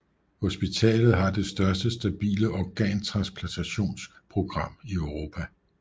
Hospitalet har det største stabile organtransplantationsprogram i Europa